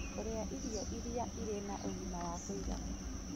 Kũrĩa irio iria irĩ na ũguni wa kũigana